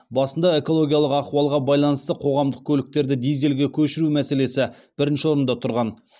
басында экологиялық ахуалға байланысты қоғамдық көліктерді дизельге көшіру мәселесі бірінші орында тұрған